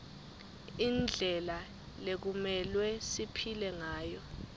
indlela lekumelwe siphile ngayo